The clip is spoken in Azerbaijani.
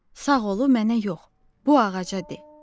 Sağ olu mənə yox, bu ağaca de.